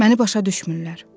Məni başa düşmürlər.